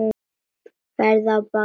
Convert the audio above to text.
Ferðin er að baki.